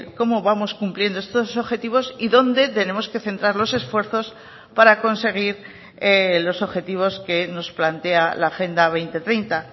cómo vamos cumpliendo estos objetivos y dónde tenemos que centrar los esfuerzos para conseguir los objetivos que nos plantea la agenda dos mil treinta